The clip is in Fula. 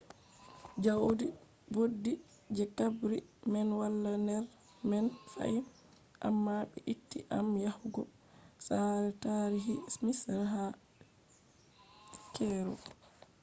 jaudi boddi je qabri man wala ner man fahim amma be itti am yahugo saare taarihi misra ha cairo